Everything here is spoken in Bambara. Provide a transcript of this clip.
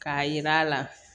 K'a yir'a la